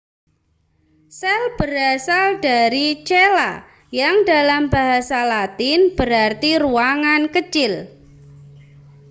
sel berasal dari cella yang dalam bahasa latin berarti ruangan kecil